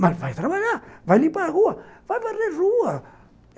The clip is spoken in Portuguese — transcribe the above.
Mas vai trabalhar, vai limpar a rua, vai barrer a rua.